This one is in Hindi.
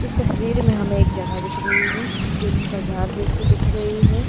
इस तस्वीर में हमें एक जगह दिख रही है जो कि बाजार जैसी दिख रही है।